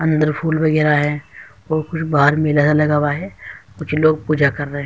अंदर फुल बगेरा है। और कुछ बाहर मेला सा लगा हुआ है। कुछ लोग पूजा कर रहे हैं।